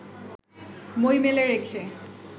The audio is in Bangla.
বই মেলে রেখে